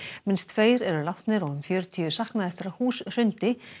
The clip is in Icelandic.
minnst tveir eru látnir og um fjörutíu saknað eftir að hús hrundi